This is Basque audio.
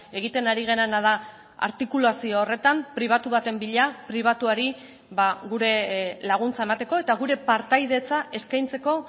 egiten ari garena da artikulazio horretan pribatu baten bila pribatuari gure laguntza emateko eta gure partaidetza eskaintzeko